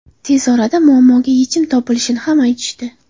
Tez orada muammoga yechim topilishini ham aytishdi.